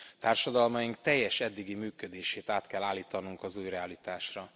Társadalmaink teljes eddigi működését át kell állítanunk az új realitásra.